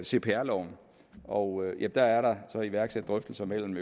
cpr loven og der er der så iværksat drøftelser imellem